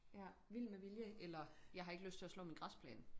Vild med vilje eller jeg har ikke lyst til at slå min græsplæne